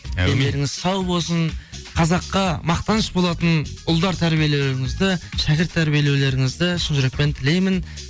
дендеріңіз сау болсын қазаққа мақтаныш болатын ұлдар тәрбилеулеріңізді шәкірт тәрбилеулеріңізді шын жүрекпен тілеймін